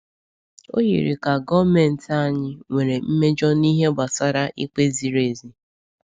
O yiri ka gọọmentị anyị nwere mmejọ n’ihe gbasara ikpe ziri ezi.